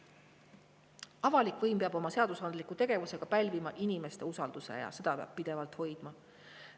Avalik võim peab oma seadusandliku tegevusega pälvima inimeste usalduse ja seda peab pidevalt hoidma.